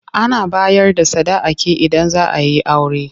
Ana bayar da sadaki idan zaa yi aure.